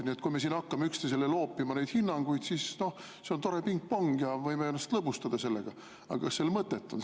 Nii et kui me hakkame üksteisele neid hinnanguid loopima, siis see on tore pingpong ja me võime ennast sellega lõbustada, aga kas sel mõtet on?